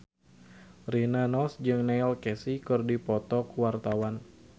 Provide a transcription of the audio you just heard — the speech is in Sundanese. Rina Nose jeung Neil Casey keur dipoto ku wartawan